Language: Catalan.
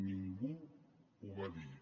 ningú ho va dir